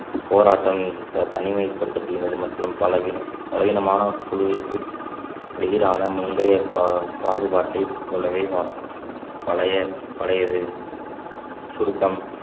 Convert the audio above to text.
போராட்டம் த~ தனிமைப்படுத்தப்படுகிறது மற்றும் பலவீனம் பலவீனமான குழுவிற்கு எதிரான முந்தைய பா~பாகுபாட்டை போலவே வா பழைய பழையது சுருக்கம்